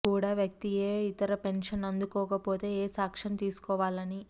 కూడా వ్యక్తి ఏ ఇతర పెన్షన్ అందుకోకపోతే ఏ సాక్ష్యం తీసుకోవాలని